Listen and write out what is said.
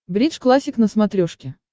бридж классик на смотрешке